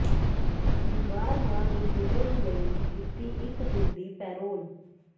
ਬਿਮਾਰ ਮਾਂ ਨੂੰ ਮਿਲਣ ਲਈ ਦਿਤੀ ਇਕ ਦਿਨ ਦੀ ਪੈਰੋਲ